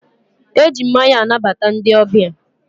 e ji mmanya anabata ndị ọbịa.